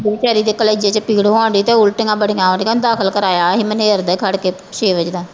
ਬੇਚਾਰੀ ਦੇ ਕਲੇਜੇ ਚ ਪੀੜ ਹੋਣਡੀ ਤੇ ਉੱਲਟੀਆਂ ਬੜੀਆਂ ਆਉਂਦੀਆਂ ਦਾਖਲ ਕਰਵਾਇਆ ਸੀ ਮਨੇਰ ਦੇ ਖੜਕੇ